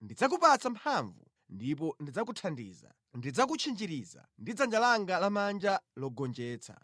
Ndidzakupatsa mphamvu ndipo ndidzakuthandiza, ndidzakutchinjiriza ndi dzanja langa lamanja logonjetsa.